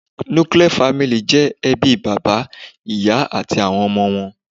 Nuclear family ' jẹ́ ebí bàbá, ìyá àti àwon ọmọ wọn